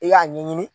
I y'a ɲɛɲini